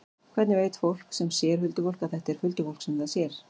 Hvernig veit fólk sem sér huldufólk að þetta er huldufólk sem það sér?